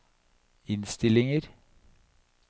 innstillinger